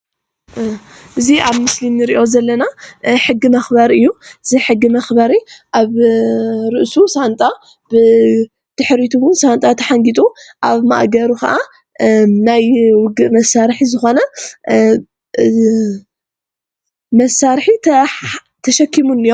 እዚ ኣብ ምስሊ እንሪኦ ዘለና ሕጊ መክበሪ እዩ፡፡ እዚ ሕጊ መክበሪ ኣብ ርእሱ ሳንጣ፣ ብድሕሪቱ እውን ሳንጣ ተሓንጊጡ ኣብ ማእገሩ ከኣ ናይ ውግእ መሳሪሒ ዝኮነ መሳርሒ ተሻኪሙ እንአ፡፡